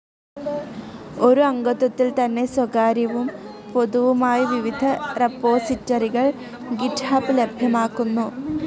ഒരു അംഗത്വത്തിൽതന്നെ സ്വകാര്യവും പൊതുവുമായ വിവിധ റെപ്പോസിറ്ററികൾ ഗിറ്റ്ഹബ് ലഭ്യമാക്കുന്നു.